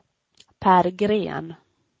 Per Green